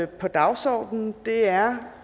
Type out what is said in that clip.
på dagsordenen er